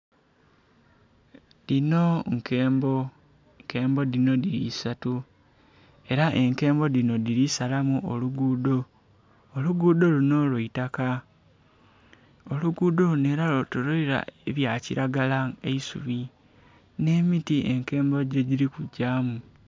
Dhino nkembo, enkembo dhino dhiri esatu era enkembo dhino dhiri salamu oluguudo, oluguudo luno lwa itaka oluguudo era lwetoleilwa ebya kilagara nga eisubi ne miti enkembo gyedhiri kujamu.